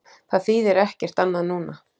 Það þýðir ekkert annað núna.